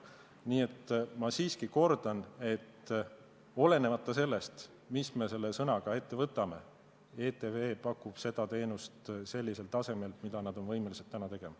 Nii et ma siiski kordan: olenemata sellest, mis me selle sõnaga ette võtame, ETV pakub seda teenust sellisel tasemel, nagu nad on võimelised tegema.